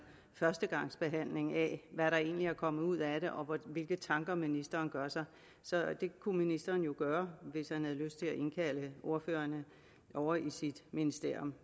førstegangsbehandling af hvad der egentlig er kommet ud af det og hvilke tanker ministeren gør sig så det kunne ministeren jo gøre hvis han havde lyst til at indkalde ordførerne ovre i sit ministerium